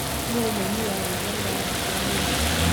nuu mũĩnĩ wa rwĩmbo rurathaka riu